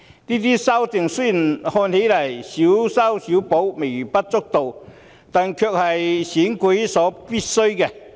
這些修訂雖然看來是"小修小補"、微不足道，但卻是選舉所必需的。